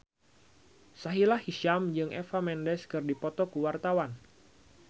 Sahila Hisyam jeung Eva Mendes keur dipoto ku wartawan